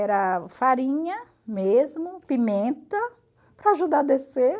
Era farinha mesmo, pimenta, para ajudar a descer.